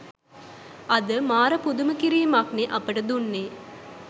අද මාර පුදුම කිරිමක් නේ අපිට දුන්නේ